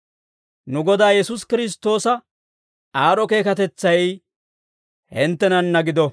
Nu Godaa Yesuusi Kiristtoosa aad'd'o keekatetsay hinttenanna gido.